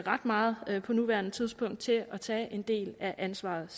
ret meget på nuværende tidspunkt til at tage en del af ansvaret